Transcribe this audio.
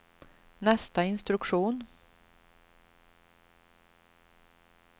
nästa instruktion